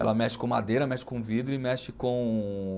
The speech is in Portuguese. Ela mexe com madeira, mexe com vidro e mexe com